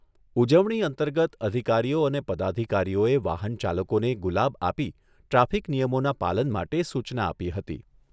ઉજવણી અંતર્ગત અધિકારીઓ અને પદાધિકારીઓએ વાહન ચાલકોને ગુલાબ આપી ટ્રાફિક નિયમોના પાલન માટે સુચના આપી હતી.